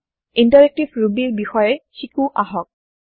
interactive Rubyৰ বিষয়ে শিকো আহক